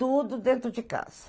Tudo dentro de casa.